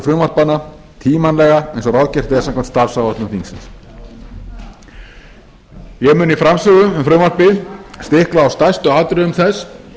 frumvarpanna tímanlega eins og ráðgert er samkvæmt starfsáætlun þingsins ég mun í framsögu um frumvarpið stikla á stærstu atriðum þess